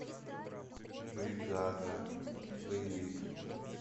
бригада боевик